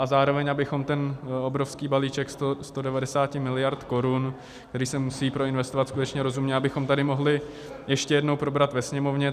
A zároveň, abychom ten obrovský balíček 190 miliard korun, který se musí proinvestovat skutečně rozumně, abychom tady mohli ještě jednou probrat ve Sněmovně.